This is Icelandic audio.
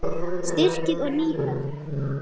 Strikið og Nýhöfn.